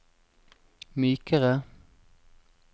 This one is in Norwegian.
mykere